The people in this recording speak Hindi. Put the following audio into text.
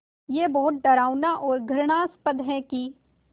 ये बहुत डरावना और घृणास्पद है कि